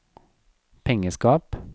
pengeskap